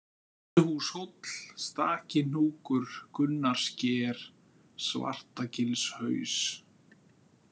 Vörðuhúshóll, Stakihnúkur, Gunnarssker, Svartagilshaus